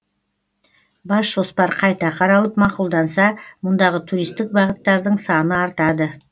бас жоспар қайта қаралып мақұлданса мұндағы туристік бағыттардың саны артады